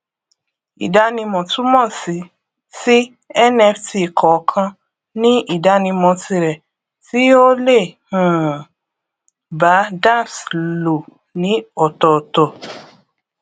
ìdánimọ túmọ sí sí nft kọọkan ní ìdánimọ tirẹ tí ó lè um bá dapps lò ní ọtọọtọ